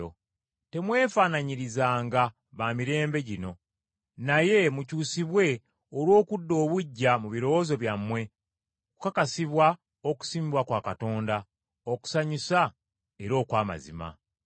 So temwefaananyirizanga ba mirembe gino, naye mukyusibwe olw’okudda obuggya mu birowoozo byammwe okukakasibwa okusiimibwa kwa Katonda, okusanyusa era okw’amazima.